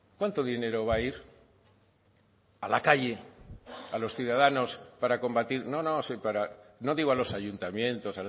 cuánto dinero va a ir a la calle a los ciudadanos para combatir no no no digo a los ayuntamientos